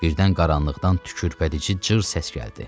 Birdən qaranlıqdan tükürpədici cır səs gəldi.